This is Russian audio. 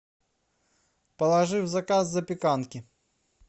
положи в заказ запеканки